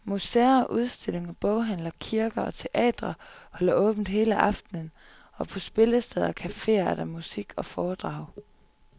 Museer, udstillinger, boghandlere, kirker og teatre holder åbent hele aftenen, og på spillesteder og caféer er der musik og foredrag.